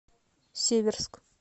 северск